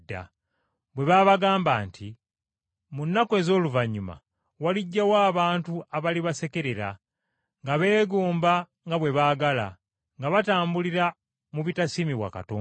bwe baabagamba nti, “Mu nnaku ez’oluvannyuma walijjawo abantu abalibasekerera, nga beegomba nga bwe baagala, nga batambulira mu bitasiimibwa Katonda.”